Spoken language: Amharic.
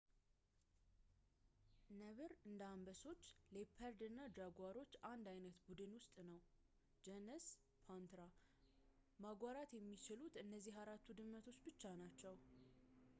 ነብር እንደ አንበሶች፣ ሌፐርድ እና ጃጓሮች አንድ ዓይነት ቡድን ውስጥ ነው ጀነስ ፓንትራ። ማጓራት የሚችሉት እነዚህ አራቱ ድመቶች ብቻ ናቸው